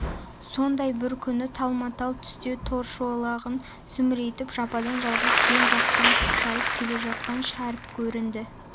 сондай бір күні талма-тал түсте торышолағын сүмірейтіп жападан-жалғыз жем жақтан шошайып келе жатқан шәріп көрінді